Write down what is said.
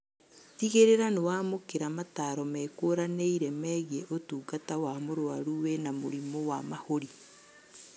Tigĩrĩra nĩwamũkĩra mataro mekũranĩire megiĩ ũtungata wa mũrwaru wĩna mũrimu wa mahũri